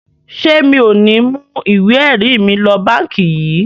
Ṣé mi ò ní mú ìwé ẹ̀rí mi lọ báǹkì yìí bí?